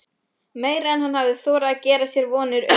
Meira en hann hafði þorað að gera sér vonir um.